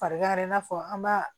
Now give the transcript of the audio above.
Farigan in n'a fɔ an b'a